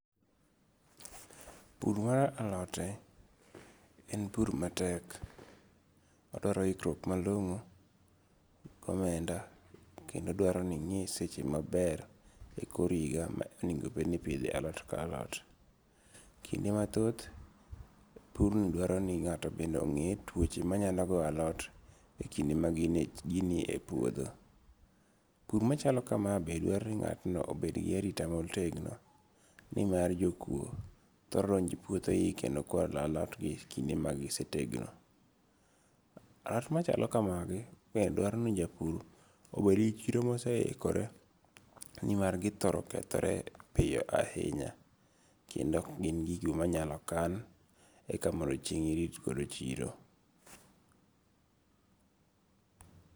Pur mar alote en pur matek, odwaro hikruok malong'o, gomenda kendo dwaro ni ingi' seche maber e kor higa ma onigo bed ni ipithe alot ka alot. kinde mathoth purni dwaro ni nga'to bende ongi'ye twoche manyalo goyo alot e kinde ma ginie e puotho, pur machalo kamae bende dwaro ni nga'tno obed gi arita motegno, ni mar jokuo thoro donjoe puothegi kendo kwalo lotgi kinde magisetegno. Alot machalo kamagi bende dwaro ni japur obed gi chiro ma oseikore, nimar githoro kethore piyo ahinya kendo gin gigo ma nyalo kan eka mondo chieng' irit godo chiro.